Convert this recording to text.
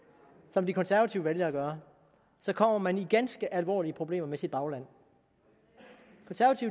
som de konservative valgte at gøre så kommer man i ganske alvorlige problemer med sit bagland